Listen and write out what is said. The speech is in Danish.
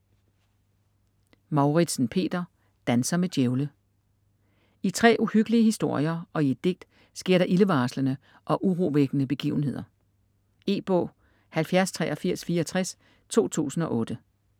Mouritzen, Peter: Danser med djævle I 3 uhyggelige historier og i et digt sker der ildevarslende og urovækkende begivenheder. E-bog 708364 2008.